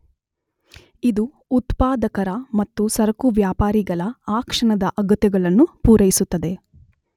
ಇದು ಉತ್ಪಾದಕರ ಮತ್ತು ಸರಕು ವ್ಯಾಪಾರಿಗಳ ಆ ಕ್ಷಣದ ಅಗತ್ಯಗಳನ್ನು ಪುರೈಸುತ್ತದೆ.